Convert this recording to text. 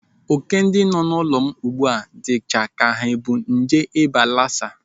Óké ndị nọ n'ụlọ m dịcha ka ha bu nje ịba lasa.